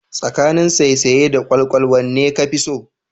Tsakanin saisaye da kwalkwal wanne kafi so?